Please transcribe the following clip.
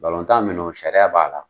Balɔntan min no, sariya b'a la.